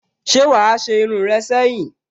Se wa a se irun re seyin?